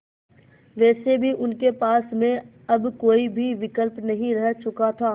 वैसे भी उनके पास में अब कोई भी विकल्प नहीं रह चुका था